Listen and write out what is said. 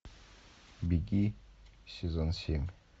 беги сезон семь